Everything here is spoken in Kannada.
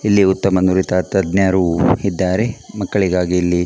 ಇಲ್ಲಿ ಉತ್ತಮ ನುರಿತ ತಜ್ಞರು ಇದ್ದಾರೆ ಮಕ್ಕಳಿಗಾಗಿ ಇಲ್ಲಿ--